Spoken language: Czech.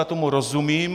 Já tomu rozumím.